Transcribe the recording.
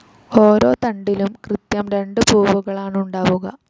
ഓരോ തണ്ടിലും കൃത്യം രണ്ട് പൂവുകളാണുണ്ടാവുക.